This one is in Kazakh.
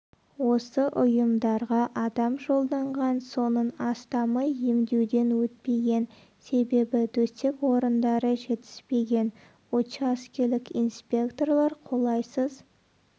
осы ұйымдарға адам жолданған соның астамы емдеуден өтпеген себебі төсек орындары жетіспеген учаскелік инспекторлар қолайсыз